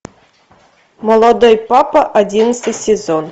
молодой папа одиннадцатый сезон